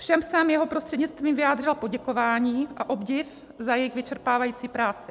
Všem jsem jeho prostřednictvím vyjádřila poděkování a obdiv za jejich vyčerpávající práci.